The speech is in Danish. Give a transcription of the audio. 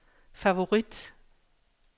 favorit